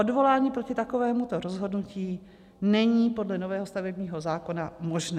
Odvolání proti takovému rozhodnutí není podle nového stavebního zákona možné.